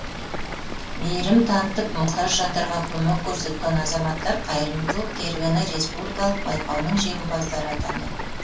мейірім танытып мұқтаж жандарға көмек көрсеткен азаматтар қайырымдылық керуені республикалық байқауының жеңімпаздары атанды